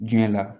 Diɲɛ la